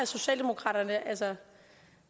socialdemokraterne altså